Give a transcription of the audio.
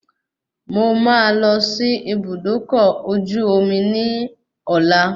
Mo máa lọ sí Ibùdókọ̀ ọkọ̀ ojú omi ní ọ̀la